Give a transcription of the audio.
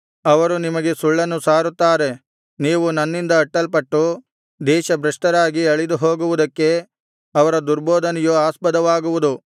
ಅವರು ನಿಮಗೆ ಸುಳ್ಳನ್ನು ಸಾರುತ್ತಾರೆ ನೀವು ನನ್ನಿಂದ ಅಟ್ಟಲ್ಪಟ್ಟು ದೇಶಭ್ರಷ್ಟರಾಗಿ ಅಳಿದುಹೋಗುವುದಕ್ಕೆ ಅವರ ದುರ್ಬೋಧನೆಯು ಆಸ್ಪದವಾಗುವುದು